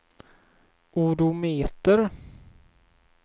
odometer